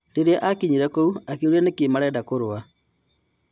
"Rĩrĩa akinyire kũu akĩũria nĩkĩ marenda kũrũa.